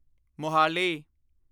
Mohali